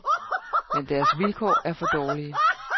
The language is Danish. Men deres vilkår er for dårlige.